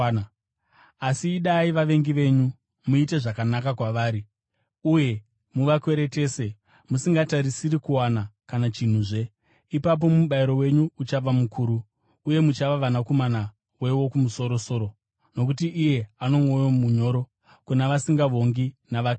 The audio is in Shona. Asi idai vavengi venyu, muite zvakanaka kwavari, uye muvakweretese musingatarisiri kuwana kana chinhuzve. Ipapo mubayiro wenyu uchava mukuru, uye muchava vanakomana veWokumusoro-soro, nokuti iye ano mwoyo munyoro kuna vasingavongi navakaipa.